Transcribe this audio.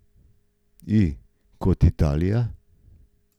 I kot Italija.